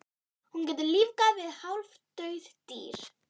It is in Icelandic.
Hún getur lífgað við hálfdauð dýr.